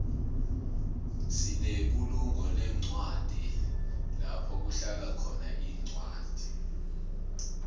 sinebulunqolencwadi lapho kuhlalakhona incwadi